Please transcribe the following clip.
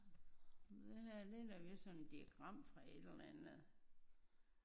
Det her det er da vist sådan en diagram fra et eller andet